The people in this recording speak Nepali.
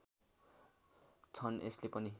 छन् यसले पनि